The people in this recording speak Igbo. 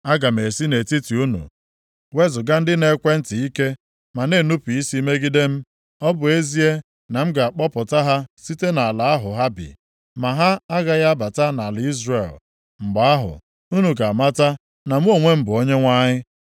Aga m esi nʼetiti unu wezuga ndị na-ekwe ntị ike ma na-enupu isi megide m. Ọ bụ ezie na m ga-akpọpụta ha site nʼala ahụ ha bi, ma ha agaghị abata nʼala Izrel. Mgbe ahụ, unu ga-amata na mụ onwe m bụ Onyenwe anyị.